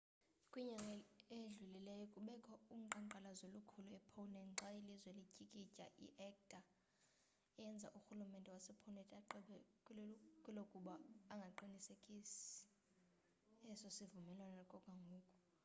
kwinyanga edlulileyo bekukho uqhankqalazo olukhulu e-poland xa ilizwe lityikitya i-acta eyenze urhululmente wase-poland agqibe kwelukuba angasiqinisekisi eso sivumelwano okwangoku